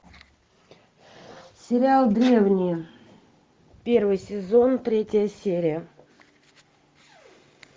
сериал древние первый сезон третья серия